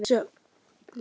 Þær komu við sögu.